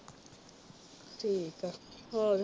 ਠੀਕ ਆ ਹੋਰ